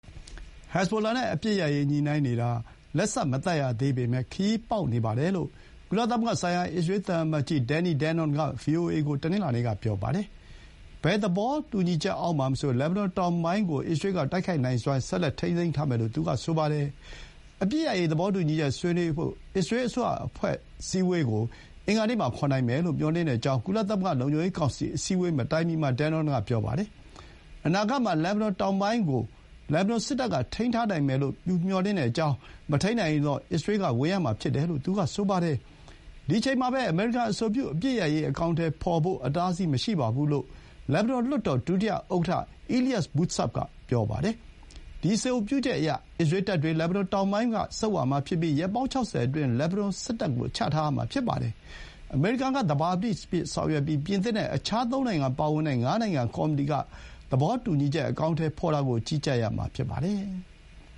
ဟက်ဇ်ဘိုလာ နဲ့ အပစ်ရပ်ရေး ညှိုနှိုင်းနေတာ လက်စ မသတ်ရသေးပေမဲ့ ခရီးပေါက်နေပါတယ်လို့ ကုလသမဂ္ဂဆိုင်ရာ အစ္စရေး သံအမတ်ကြီး Danny Danon က ဗွီအိုအေကို တနင်္လာနေ့က ပြောပါတယ်။ ဘယ်သဘောတူညီချက် အောက်မှာမဆို လက်ဘနွန်တောင်ပိုင်းကို အစ္စရေး က တိုက်ခိုက်နိုင်စွမ်း ဆက်လက်ထိန်းထားမယ် လို့ သူက ဆိုပါတယ်။ အပစ်ရပ်ရေး သဘောတူညီချက် ဆွေးနွေးဖို့ အစ္စရေး အစိုးရ အဖွဲ့ အစည်းအဝေးကို တနင်္လာ ဒါမှမဟုတ် အင်္ဂါမှာ ခေါ်နိုင်မယ်လို့ မျှော်လင့်ကြောင်း ကုလသမဂ္ဂ လုံခြုံရေး ကောင်စီ အစည်းအဝေးမတိုင်မီမှာ Danon က ပြောပါတယ်။ အနာဂတ်မှာ လက်ဘနွန်တောင်ပိုင်းကို လက်ဘနွန် စစ်တပ်က ထိန်းနိုင်မယ်လို့ သူမျှော်လင့်ကြောင်း၊ မထိန်းနိုင်ရင်တော့ အစ္စရေး က ဝင်ရမှာ ဖြစ်တယ်လို့ သူက ဆိုပါတယ်။ ဒီ အချိန်မှာပဲ အမေရိကန် အဆိုပြု အပစ်ရပ်ရေး အကောင်အထည် ဖော်ဖို့ အတားအဆီး မရှိပါဘူး လို့ လက်ဘနွန် လွှတ်တော် ဒုတိယ ဥက္ကဌ Elias Bou Saab က ပြောပါတယ်။ ဒီ အဆိုပြုချက်အရ၊ အစ္စရေးတပ်တွေ လက်ဘနွန်တောင်ပိုင်း က ဆုတ်ရမှာဖြစ်ပြီး ရက်ပေါင်း ၆၀ အတွင်း လက်ဘနွန် စစ်တပ်ကို ချထားရမှာ ဖြစ်ပါတယ်။ အမေရိကန် က သဘာပတိအဖြစ် ဆောင်ရွက်ပြီး ပြင်သစ် နဲ့ အခြား သုံးနိုင်ငံ ပါဝင်တဲ့ ငါးနိုင်ငံ ကော်မတီက သဘောတူညီချက် အကောင်အထည်ဖော်တာကို ကြီးကြပ်ရမှာ ဖြစ်ပါတယ်။